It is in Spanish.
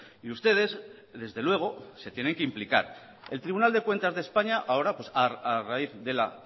y ustedes desde luego se tienen que implicar el tribunal de cuentas de españa ahora a raíz de la